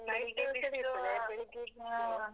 ಬೆಳಿಗ್ಗೆ ಬಿಸ್ಲಿರ್ತದೆ.